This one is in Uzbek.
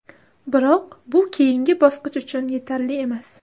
Biroq bu keyingi bosqich uchun yetarli emas.